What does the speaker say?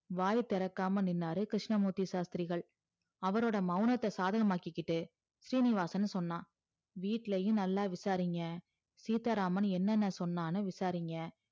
வாய் திறக்காம நின்னாரு கிருஸ்னமூர்த்தி சாஸ்த்திரிகள் அவருடைய மௌனத்த சாதகமா ஆக்கிகிட்டு சீனிவாசன் சொன்னான் வீட்ளையும் நல்லா விசாரிங்க சீத்தாராமன் என்னன்ன சொன்னானு விசாரிங்க